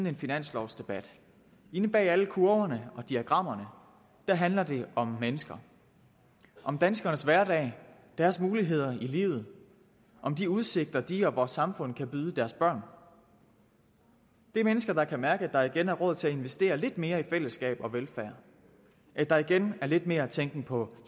en finanslovsdebat inde bag alle kurverne og diagrammerne handler det om mennesker om danskernes hverdag deres muligheder i livet om de udsigter de og vores samfund kan byde deres børn det er mennesker der kan mærke at der igen er råd til at investere lidt mere i fællesskab og velfærd at der igen er lidt mere tænken på